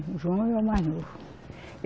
O João era o mais novo.